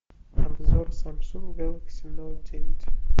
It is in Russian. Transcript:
обзор самсунг гэлакси ноут девять